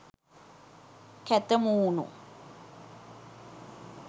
කැත මූණු..